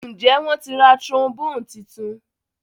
Njé wón tí rá trombone títún?